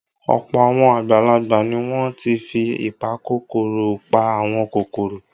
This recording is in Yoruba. Ọ̀pọ̀ àwọn àgbàlagbà ni wọ́n ti fi ìpakòkòrò pa àwọn kòkòrò.